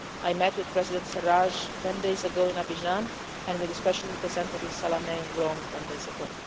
stage. I met with President Sarraj ten days ago in Abidjan and, with Special Representative Salameh in Rome ten days